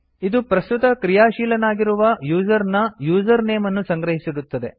ಇದು ಪ್ರಸ್ತುತ ಕ್ರಿಯಾಶೀಲನಾಗಿರುವ ಯೂಸರ್ ನ ಯೂಸರ್ ನೇಮ್ ಅನ್ನು ಸಂಗ್ರಹಿಸಿಡುತ್ತದೆ